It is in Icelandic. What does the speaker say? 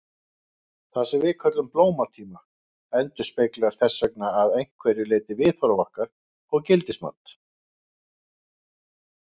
Það sem við köllum blómatíma endurspeglar þess vegna að einhverju leyti viðhorf okkar og gildismat.